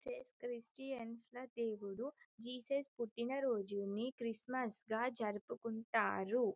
Christians ల దేవుడు ఏసు క్రీస్తు దేవుని పుట్టిన రోజుని క్రిస్మస్ గా జరుపుకుంటారు.